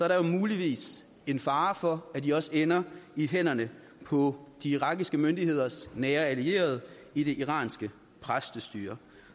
der jo muligvis en fare for at de også ender i hænderne på de irakiske myndigheders nære allierede i det iranske præstestyre